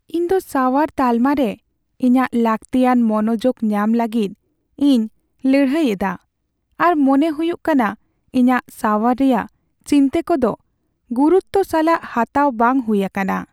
ᱤᱧᱫᱚ ᱥᱟᱣᱟᱨ ᱛᱟᱞᱢᱟᱨᱮ ᱤᱧᱟᱹᱜ ᱞᱟᱹᱠᱛᱤᱭᱟᱱ ᱢᱚᱱᱚᱡᱳᱜ ᱧᱟᱢ ᱞᱟᱹᱜᱤᱫ ᱤᱧ ᱞᱟᱹᱲᱦᱟᱹᱭ ᱮᱫᱟ, ᱟᱨ ᱢᱚᱱᱮ ᱦᱩᱭᱩᱜ ᱠᱟᱱᱟ ᱤᱧᱟᱹᱜ ᱥᱟᱣᱟᱨ ᱨᱮᱭᱟᱜ ᱪᱤᱱᱛᱟᱹ ᱠᱚᱫᱚ ᱜᱩᱨᱩᱛᱛᱚ ᱥᱟᱞᱟᱜ ᱦᱟᱛᱟᱣ ᱵᱟᱝ ᱦᱩᱭ ᱟᱠᱟᱱᱟ ᱾